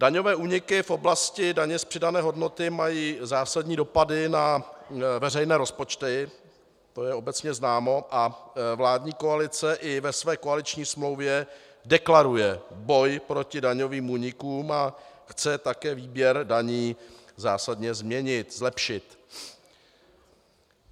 Daňové úniky v oblasti daně z přidané hodnoty mají zásadní dopady na veřejné rozpočty, to je obecně známo, a vládní koalice i ve své koaliční smlouvě deklaruje boj proti daňovým únikům a chce také výběr daní zásadně změnit, zlepšit.